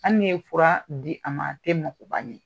Ali n''i ye fura di a ma , a tɛ magoba ɲan.